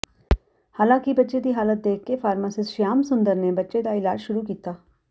ਹਾਲਾਂਕਿ ਬੱਚੇ ਦੀ ਹਾਲਤ ਦੇਖ ਕੇ ਫਾਰਮਾਸਿਸਟ ਸ਼ਿਆਮ ਸੁੰਦਰ ਨੇ ਬੱਚੇ ਦਾ ਇਲਾਜ ਸ਼ੁਰੂ ਕੀਤਾ